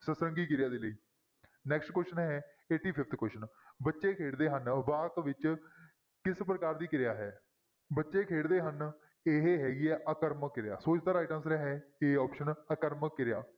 ਸਤਰੰਗੀ ਕਿਰਿਆ ਦੇ ਲਈ next question ਹੈ eighty-fifth question ਬੱਚੇ ਖੇਡਦੇ ਹਨ ਵਾਕ ਵਿੱਚ ਕਿਸ ਪ੍ਰਕਾਰ ਦੀ ਕਿਰਿਆ ਹੈ? ਬੱਚੇ ਖੇਡਦੇ ਹਨ ਇਹ ਹੈਗੀ ਹੈ ਆਕਰਮਕ ਕਿਰਿਆ, ਸੋ ਇਸਦਾ right answer ਹੈ a option ਆਕਰਮਕ ਕਿਰਿਆ।